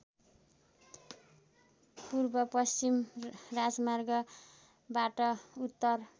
पूर्वपश्चिम राजमार्गबाट उत्तर